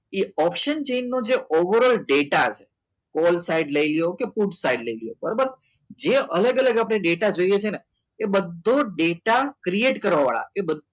એ option change નો over all data all side લઈ લો કે ફુટ સાઇડ લઈ લો બરાબર જે અલગ અલગ આપણે ડેટા જઈએ છે ને એ બધું જ ડેટા create કરવાવાળા